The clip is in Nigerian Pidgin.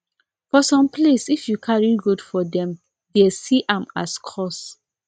for some place if you carry goat for dem dey see am as curse